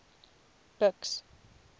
buks